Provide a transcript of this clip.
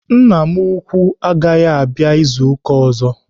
Nna m ukwuu agaghị abịa izu ụka ọzọ.